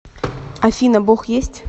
афина бог есть